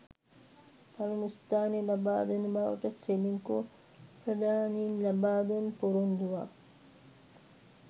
පළමු ස්ථානය ලබාදෙන බවට සෙලින්කෝ ප්‍රධානීන් ලබාදුන් පොරොන්දුවක්